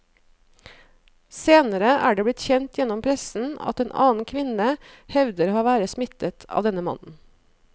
Senere er det blitt kjent gjennom pressen at en annen kvinne hevder å være smittet av denne mannen.